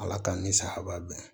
Ala ka ni sahɛbadon